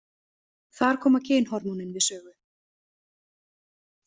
Þar koma kynhormónin við sögu.